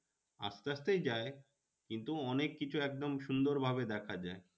আস্তে আস্তেই যায় কিন্তু অনেক কিছু একদম সুন্দর ভাবে দেখা যায়।